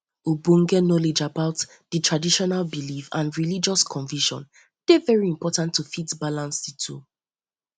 ogbonge knowledge about di traditional belief and religious conviction dey very important to fit balance di two